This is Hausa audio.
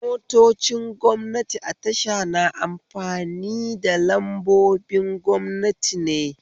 Motocin gwamnati a tasha na amfani da lambobin gwamnati ne